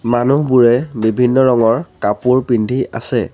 মানুহবোৰে বিভিন্ন ৰঙৰ কাপোৰ পিন্ধি আছে।